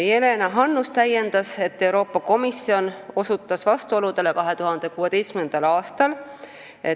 Jelena Hannus täiendas, et Euroopa Komisjon osutas vastuoludele 2016. aastal.